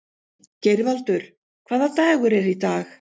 Geirvaldur, hvaða dagur er í dag?